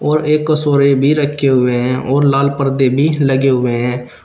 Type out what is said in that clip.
और एक कसोरे भी रखे हुए हैं और लाल पर्दे भी लगे हुए हैं।